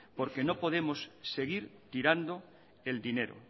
porque no podemos seguir tirando el dinero